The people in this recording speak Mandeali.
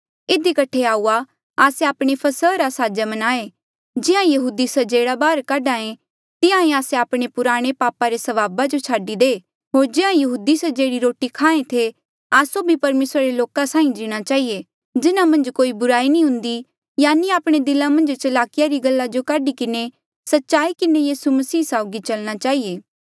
इधी कठे आऊआ आस्से आपणे फसहा रा साजा मनाहें जिहां यहूदी स्जेड़ा बाहर काढेया तिहां ही आस्से आपणे पुराणे पापा रे स्वभावा जो छाडी दे होर जिहां यहूदी स्जेड़ी रोटी खाएं थे आस्सो भी परमेसरा रे लोका साहीं जीणा चहिए जिन्हा मन्झ कोई बुराई नी हुन्दी यानि आपणे दिला मन्झ चलाकीया री गल्ला जो काढी किन्हें सच्चाई किन्हें यीसू मसीह साउगी चलना चहिए